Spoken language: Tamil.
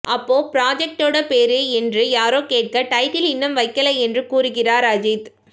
அப்போ புராஜெக்டோட பேரு என்று யாரோ கேட்க டைட்டில் இன்னும் வைக்கலை என்று கூறுகிறார் அஜீத்